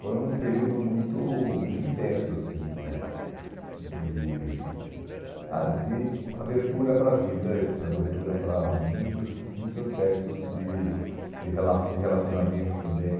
Foi um período muito muito intenso, assim, de de ah de abertura para a vida, abertura para muitas muitos aspectos de de rela de relacionamento também.